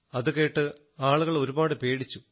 അതുകേട്ട് ആളുകൾ ഒരുപാട് പേടിച്ചു